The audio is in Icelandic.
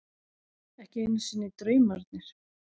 Ekki einu sinni draumarnir.